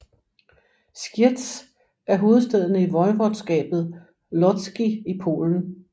Zgierz er hovedstaden i voivodskabet Łódzkie i Polen